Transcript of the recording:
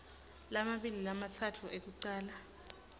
lamabili lamatsatfu ekucala